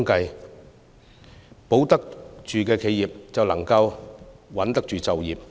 能保住企業，便能穩住就業。